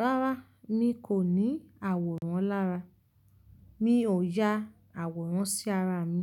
Rárá mi kò ní àwòrán lára, mi ò ya àwòrán sí ara mi.